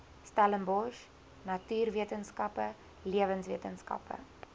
stellenbosch natuurwetenskappe lewenswetenskappe